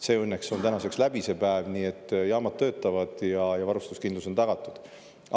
See õnneks on tänaseks läbi, nii et jaamad töötavad ja varustuskindlus on tagatud.